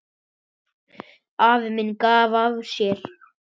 Afi minn gaf af sér.